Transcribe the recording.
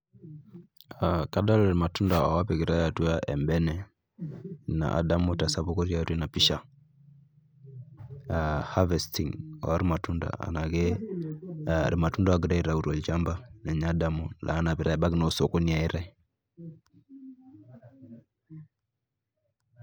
Aa kadol irmatunda oopikitai atua embene ina adamu tesapuko otii atua ena pisha aa harvesting ormatunda enaake ee irmatunda oogirai aitayu tolchamba ninye adamu loonapitai ebaiki naa osokoni eyaitai.